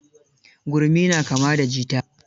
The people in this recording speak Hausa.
Gurmi na kama da jita.